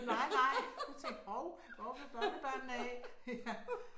Men nej nej jeg tænkte hov hvor blev børnebørnene af ja